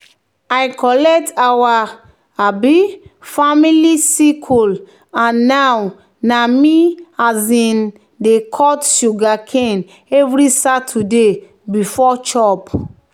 "i collect our um family sickle and now na me um dey cut sugarcane every saturday before chop."